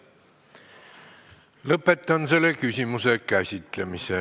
Lõpetan selle küsimuse käsitlemise.